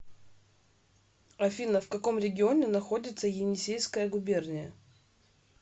афина в каком регионе находится енисейская губерния